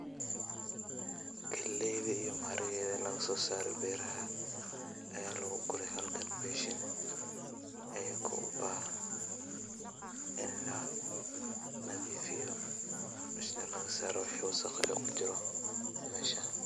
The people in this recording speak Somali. galeyda iyo maharagweda lagasosaro beraha aya Balkan lugure beshin ayago ubahan in lanadifiyo oo lagasaro wixi wasqo kujiro meesha.